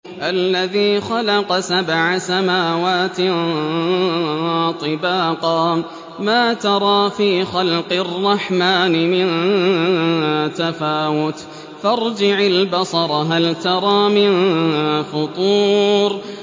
الَّذِي خَلَقَ سَبْعَ سَمَاوَاتٍ طِبَاقًا ۖ مَّا تَرَىٰ فِي خَلْقِ الرَّحْمَٰنِ مِن تَفَاوُتٍ ۖ فَارْجِعِ الْبَصَرَ هَلْ تَرَىٰ مِن فُطُورٍ